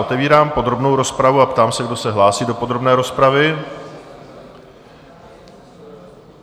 Otevírám podrobnou rozpravu a ptám se, kdo se hlásí do podrobné rozpravy.